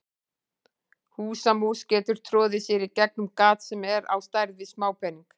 Húsamús getur troðið sér í gegnum gat sem er á stærð við smápening.